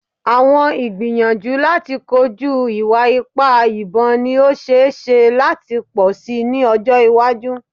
Awọn igbiyanju lati koju iwa-ipa ibon ni o ṣee ṣe lati pọ si ni ọjọ iwaju